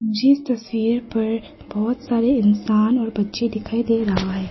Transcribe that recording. मुझे इस तस्वीर पर बहुत सारे इंसान और बच्चे दिखाई दे रहा है।